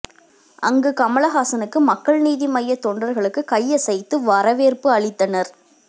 அங்கு கமலஹாசனுக்கு மக்கள் நீதி மைய தொண்டர்களுக்கு கையசைத்து வரவேற்பு அளித்தனர்